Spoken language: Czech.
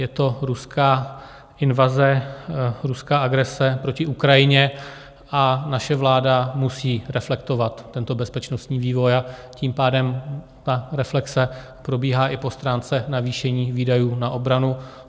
Je to ruská invaze, ruská agrese proti Ukrajině, a naše vláda musí reflektovat tento bezpečnostní vývoj, a tím pádem ta reflexe probíhá i po stránce navýšení výdajů na obranu.